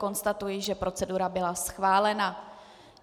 Konstatuji, že procedura byla schválena.